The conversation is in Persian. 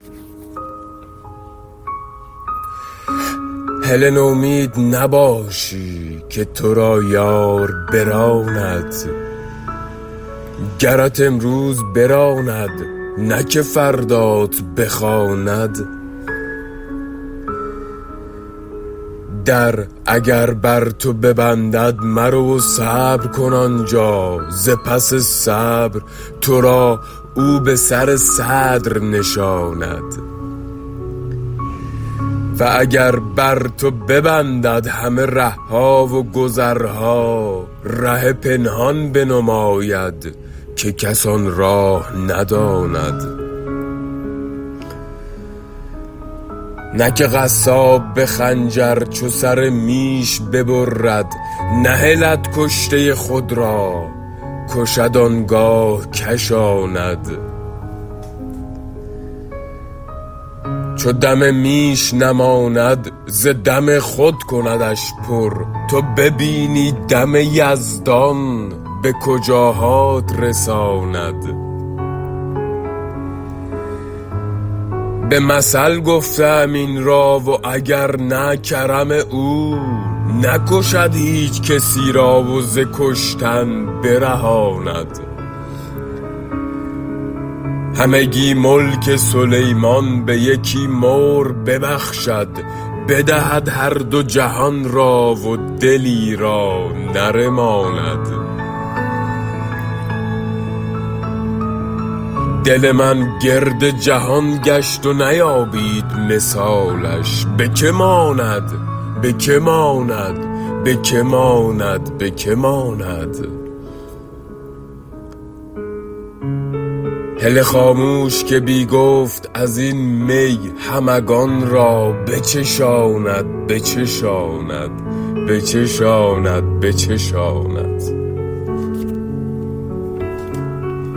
هله نومید نباشی که تو را یار براند گرت امروز براند نه که فردات بخواند در اگر بر تو ببندد مرو و صبر کن آن جا ز پس صبر تو را او به سر صدر نشاند و اگر بر تو ببندد همه ره ها و گذرها ره پنهان بنماید که کس آن راه نداند نه که قصاب به خنجر چو سر میش ببرد نهلد کشته خود را کشد آن گاه کشاند چو دم میش نماند ز دم خود کندش پر تو ببینی دم یزدان به کجاهات رساند به مثل گفته ام این را و اگر نه کرم او نکشد هیچ کسی را و ز کشتن برهاند همگی ملک سلیمان به یکی مور ببخشد بدهد هر دو جهان را و دلی را نرماند دل من گرد جهان گشت و نیابید مثالش به که ماند به که ماند به که ماند به که ماند هله خاموش که بی گفت از این می همگان را بچشاند بچشاند بچشاند بچشاند